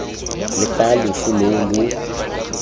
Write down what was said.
lo fa loso loo lo